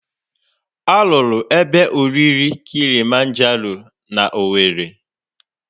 A rụrụ ebe oriri Kilimanjaro na Owere.